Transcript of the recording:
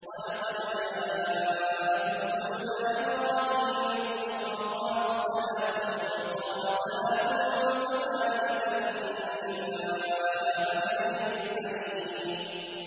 وَلَقَدْ جَاءَتْ رُسُلُنَا إِبْرَاهِيمَ بِالْبُشْرَىٰ قَالُوا سَلَامًا ۖ قَالَ سَلَامٌ ۖ فَمَا لَبِثَ أَن جَاءَ بِعِجْلٍ حَنِيذٍ